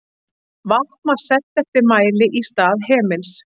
Vatn var selt eftir mæli í stað hemils.